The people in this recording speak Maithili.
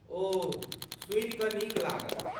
ओह, सुनि कऽ नीक लागल।